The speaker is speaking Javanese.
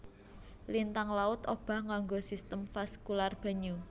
Lintang laut obah nganggo sistem vaskular banyu